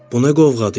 Bu nə qovğadır?